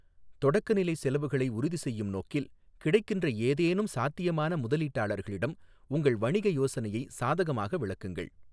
தொடக்கநிலைச் செலவுகளை உறுதிசெய்யும் நோக்கில், கிடைக்கின்ற ஏதேனும் சாத்தியமான முதலீட்டாளர்களிடம் உங்கள் வணிக யோசனையை சாதகமாக விளக்குங்கள்.